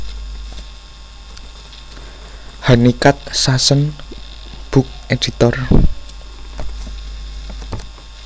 Hunnicutt Susan book editor